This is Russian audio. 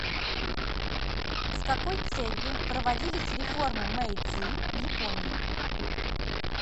с какой целью проводились реформы мэйдзи в японии